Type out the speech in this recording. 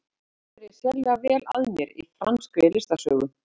Ég hef aldrei verið sérlega vel að mér í franskri listasögu.